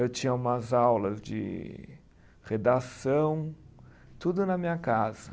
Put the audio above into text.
Eu tinha umas aulas de redação, tudo na minha casa.